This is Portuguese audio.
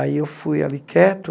Aí eu fui ali quieto,